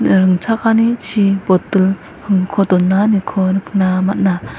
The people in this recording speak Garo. ringchakani chi bottle donaniko nikna man·a.